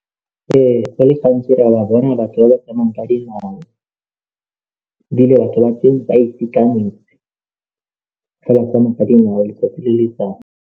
Ee, go le gantsi re a ba bona batho ba ba tsamayang ka dinao ebile batho ba teng ba itekanetse ge ba tsamaya ka dingwao letsatsi le letsatsi.